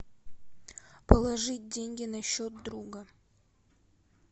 положить деньги на счет друга